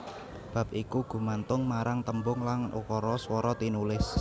Bab iku gumantung marang tembung lan ukara swara tinulis